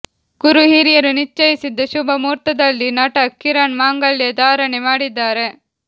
ಗುರು ಹಿರಿಯರು ನಿಶ್ಚಯಿಸಿದ ಶುಭ ಮುಹೂರ್ತದಲ್ಲಿ ನಟ ಕಿರಣ್ ಮಾಂಗಲ್ಯ ಧಾರಣೆ ಮಾಡಿದ್ದಾರೆ